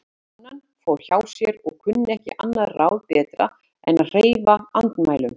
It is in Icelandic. Konan fór hjá sér og kunni ekki annað ráð betra en að hreyfa andmælum.